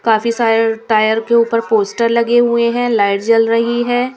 काफी सारे टायर के ऊपर पोस्टर लगे हुए हैं लाइट जल रही है.